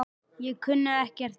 Ég kunni ekkert annað.